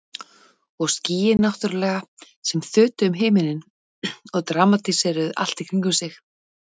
Og skýin náttúrlega sem þutu um himininn og dramatíseruðu allt í kringum sig.